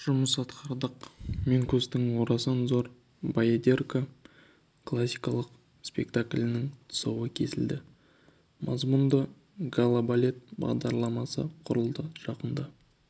жұмыс атқардық минкустың орасан зор баядерка классикалық спектаклінің тұсауы кесілді мазмұнды гала-балет бағдарламасы құрылды жақында